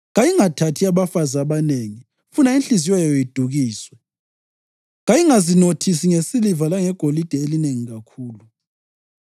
Kayingathathi abafazi abanengi funa inhliziyo yayo idukiswe. Kayingazinothisi ngesiliva langegolide elinengi kakhulu.